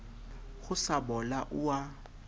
ho sa bola o a